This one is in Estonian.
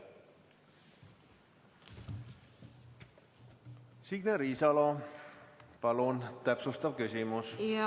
Signe Riisalo, palun, täpsustav küsimus!